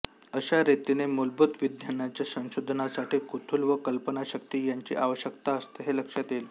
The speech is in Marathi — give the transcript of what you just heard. अशा रीतीने मूलभूत विज्ञानाच्या संशोधनासाठी कुतूहल व कल्पनाशक्ती यांची आवश्यकता असते हे लक्षात येईल